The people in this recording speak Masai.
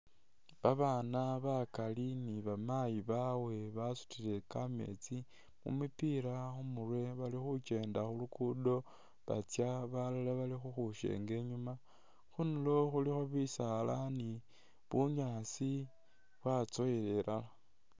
Babaana bakali ni bamayi bawe basutile kameetsi mu mipila khu murwe bali khukenda khu luguudo batsya, balala bali khukhwisyenga inyuuma. Khundulo khulikho bisaala ni bunyaasi byatsowela ilala.